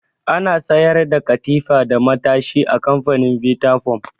Ana sayar da katifa da matashi a kamfanin bita foam